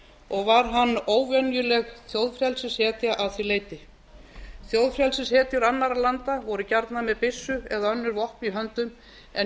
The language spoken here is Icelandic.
og var hann óvenjuleg þjóðfrelsishetja að því leyti þjóðfrelsishetjur annarra landa voru gjarnan með byssu eða önnur vopn í höndum en